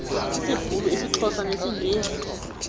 sisibhulu isixhosa nesingesi